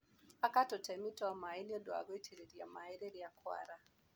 Aka tũtemu twa maĩ nĩũndũ wa gũitĩrĩria maĩ rĩria kwara.